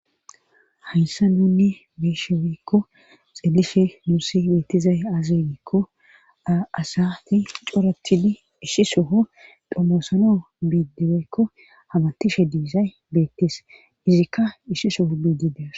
hayssa nunne beeshe woykko xeelishe nuusi beettizay aazegikko a7asati coratili ishi soho domoosano biidiweykko hamattishe diizay beettis izikka ishi soho biidides